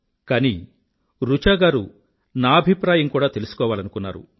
కానీ రుచా గారూ నా అభిప్రాయం కూడా తెలుసుకోవాలనుకున్నారు